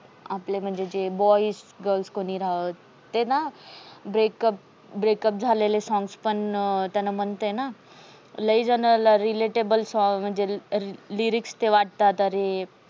आपलं म्हणजे जे boys, girls कोणी राव ते ना breakup, breakup झालेले. songs पण त्यांना म्हणतेय ना, लय झण relatable आहे. म्हणजे lyrics ते वाटतात. अरे